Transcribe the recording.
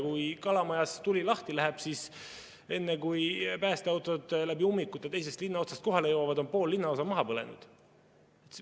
Kui Kalamajas tuli lahti läheb, siis enne, kui päästeautod läbi ummikute teisest linna otsast kohale jõuavad, on pool linnaosa maha põlenud.